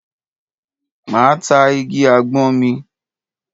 Máa ta igi àgbọn mi.